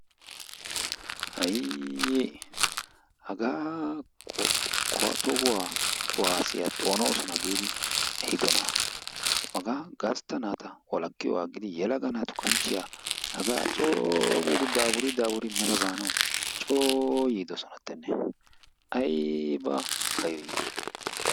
haayii! hagaa tohuwaa kuwaasiyaa xoonosona giidi ehidoonaa. hagaa gastta naata walakkiyoogaa aggidi yelaga naatu kanchchiyaa coo dafurii dafuridi mela baanaw coo yiidosonatenne aybba keehisha?